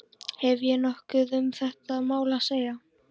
Hef ég nokkuð um þetta mál að segja?